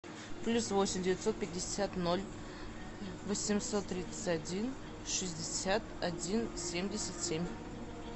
плюс восемь девятьсот пятьдесят ноль восемьсот тридцать один шестьдесят один семьдесят семь